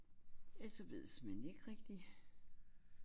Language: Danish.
Ellers så ved jeg såmænd ikke rigtig